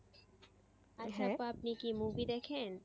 আপনি কি movie দেখেন?